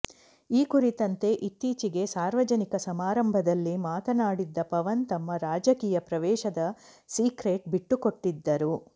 ಈ ಕುರಿತಂತೆ ಇತ್ತೀಚೆಗೆ ಸಾರ್ವಜನಿಕ ಸಮಾರಂಭದಲ್ಲಿ ಮಾತನಾಡಿದ್ದ ಪವನ್ ತಮ್ಮ ರಾಜಕೀಯ ಪ್ರವೇಶದ ಸಿಕ್ರೇಟ್ ಬಿಟ್ಟುಕೊಟ್ಟಿದ್ದರು